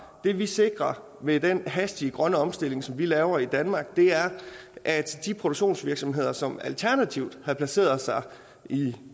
det vi sikrer med den hastige grønne omstilling som vi laver i danmark er at de produktionsvirksomheder som alternativt har placeret sig i